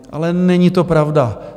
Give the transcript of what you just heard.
Ale není to pravda.